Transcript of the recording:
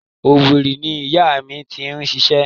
Owerri ni ìyá mi ti ń ṣiṣẹ́.